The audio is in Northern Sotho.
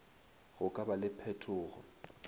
go ka ba le phetogo